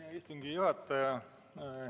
Hea istungi juhataja!